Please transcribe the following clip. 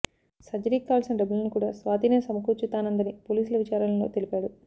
సర్జరీకి కావాల్సిన డబ్బులును కూడా స్వాతినే సమకూర్చుతానందని పోలీసుల విచారలో తెలిపాడు